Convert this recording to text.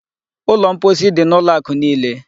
Ụlọ mposi dị n'ụlọ akụ niile.